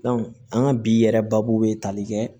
an ka bi yɛrɛ baabu be tali kɛ